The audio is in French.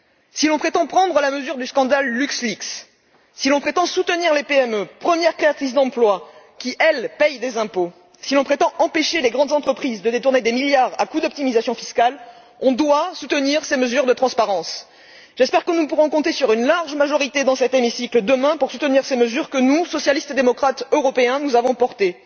Si l'on veut prendre la mesure du scandale Luxleaks, si l'on prétend soutenir les PME, premières créatrices d'emplois qui, elles payent des impôts, si l'on souhaite empêcher les grandes entreprises de détourner des milliards à coup d'optimisation fiscale, il faut soutenir ces mesures de transparence. J'espère que nous pourrons compter sur une large majorité dans cet hémicycle, demain, pour soutenir ces dispositions que nous, socialistes et démocrates européens, avons portées.